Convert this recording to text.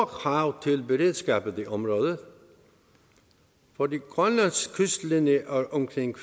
krav til beredskabet i området fordi grønlands kystlinje er omkring